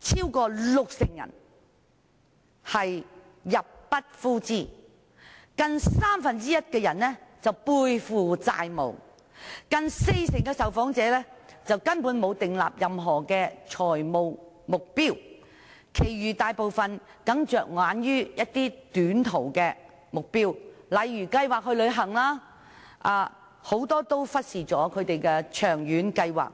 超過六成人入不敷支，近三分之一的人背負債務，近四成的受訪者根本沒有訂立任何財務目標，其餘大部分人僅着眼於短期目標，例如計劃旅行，很多人均忽視長遠計劃。